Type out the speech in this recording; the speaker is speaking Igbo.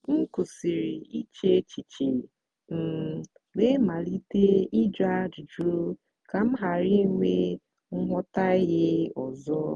m kwụsịrị iche echiche um wee malite ịjụ ajụjụ ka m ghara inwe nghọtahie ọzọ.